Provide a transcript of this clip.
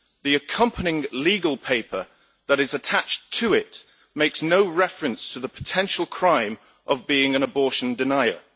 The accompanying legal paper that is attached to it makes no reference to the potential crime of being an abortion denier.